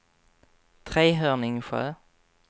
Trehörningsjö